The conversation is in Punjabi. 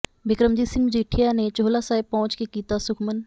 ਬਿਕਰਮਜੀਤ ਸਿੰਘ ਮਜੀਠੀਆ ਨੇ ਚੋਹਲਾ ਸਾਹਿਬ ਪੁਹੰਚ ਕੇ ਕੀਤਾ ਸੁਖਮਨ